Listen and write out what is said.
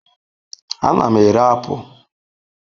Ana m ere apụl.